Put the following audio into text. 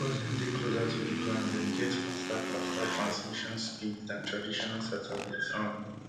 becos dem dey closer to di ground dem get faster faster transmission speeds dan traditional satellites um